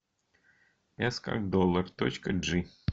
эс как доллар точка джи